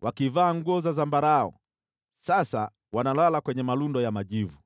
wakivaa nguo za zambarau sasa wanalalia majivu.